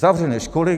Zavřené školy...